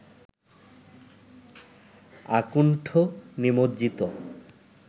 আকুণ্ঠ নিমজ্জিত